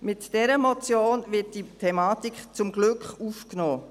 Mit dieser Motion wird diese Thematik zum Glück aufgenommen.